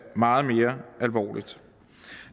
meget mere alvorligt